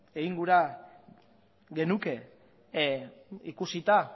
egin gura genuke ikusita